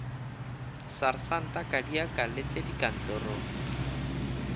sersanta kadiaka le tleng dikantorong